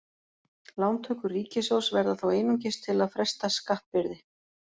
Lántökur ríkissjóðs verða þá einungis til að fresta skattbyrði.